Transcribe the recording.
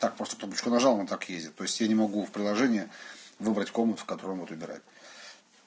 так просто кнопку нажал она так и ездит то есть я не могу в приложении выбрать комнату в которой он будут убирать